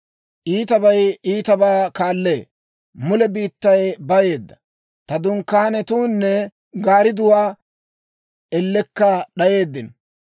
Iitabay iitabaa kaallee; mule biittay bayeedda. Ta dunkkaanetuunne gaaridatuu ellekka d'ayeeddino.